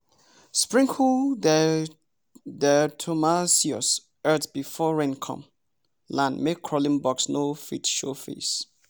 sprinkle diatomaceous earth before rain come land make crawling bugs no fit show face.